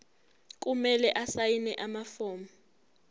kumele asayine amafomu